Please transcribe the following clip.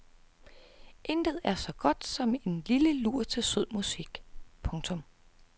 Intet er så godt som en lille lur til sød musik. punktum